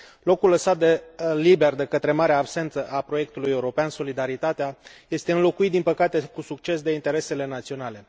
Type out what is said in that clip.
Locul lăsat liber de către marea absență a proiectului european, solidaritatea, este înlocuit, din păcate, cu succes de interesele naționale.